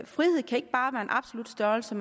frihed kan ikke bare være en absolut størrelse